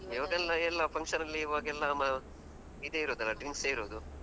ಎಲ್ಲ function ಈವಾಗೆಲ್ಲ ಮ ಇದೇ ಇರುದಲ್ಲ, drinks ಇರುದು.